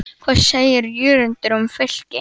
Hvað segir Jörundur um Fylki?